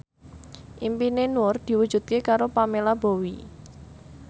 impine Nur diwujudke karo Pamela Bowie